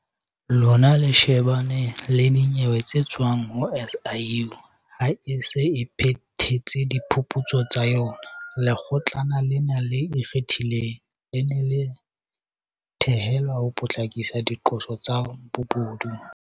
Lona le shebana le dinyewe tse tswang ho SIU ha e se e phethetse diphuputso tsa yona. Lekgotlana lena le Ikgethileng, le ne le thehelwe ho potlakisa diqoso tsa bobodu.